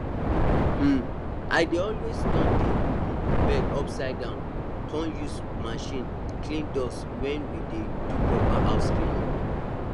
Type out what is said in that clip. um i dey always turn di um bed upside down con use machine clean dust when we dey do proper house cleaning